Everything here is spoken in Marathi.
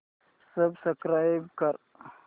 सबस्क्राईब कर